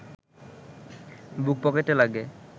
বুক পকেটে লাগে